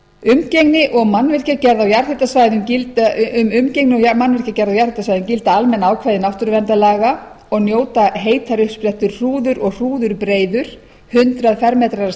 umgengni og mannvirkjagerð á jarðhitasvæðum gilda almenn ákvæði náttúruverndarlaga og njóta heitar uppsprettur hrúður og hrúðurbreiður hundrað m tvö að stærð eða stærri